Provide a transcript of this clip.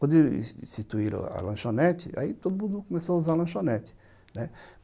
Quando instituíram a lanchonete, aí todo mundo começou a usar lanchonete, né?